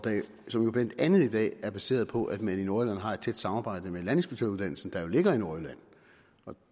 som jo blandt andet i dag er baseret på at man i nordjylland har et tæt samarbejde med landinspektøruddannelsen der jo ligger i nordjylland